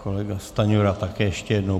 Kolega Stanjura také ještě jednou.